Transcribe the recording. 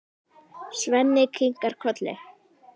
Svenni kinkar kolli.